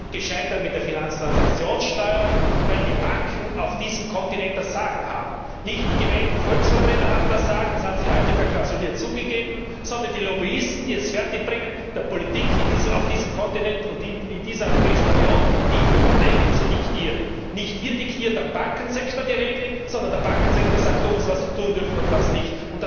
Wir sind gescheitert mit der Finanztransaktionssteuer, weil die Banken auf diesem Kontinent das Sagen haben. Nicht die gewählten Volksvertreter haben das Sagen, das haben Sie heute verklausuliert zugegeben, sondern die Lobbyisten, die es fertigbringen, der Politik auf diesem Kontinent und in dieser Europäischen Union die Regeln zu diktieren. Nicht wir diktieren dem Bankensektor die Regeln, sondern der Bankensektor sagt uns, was wir tun dürfen und was nicht.